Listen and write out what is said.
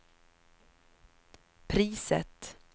priset